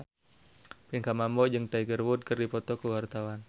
Pinkan Mambo jeung Tiger Wood keur dipoto ku wartawan